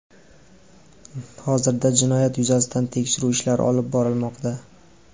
Hozirda jinoyat yuzasidan tekshiruv ishlari olib borilmoqda.